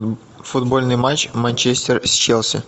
футбольный матч манчестер с челси